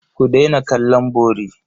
Ku daina kallon bori.